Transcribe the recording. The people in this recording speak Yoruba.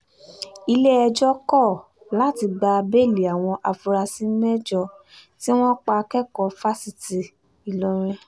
ilé-ẹjọ́ kọ̀ láti gba bẹ́ẹ̀lì àwọn afurasí mẹ́jọ tí wọ́n pa akẹ́kọ̀ọ́ fáṣítì ìlọrin